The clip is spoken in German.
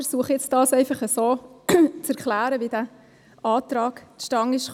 Ich versuche nun so zu erklären, wie der Antrag zustande gekommen ist.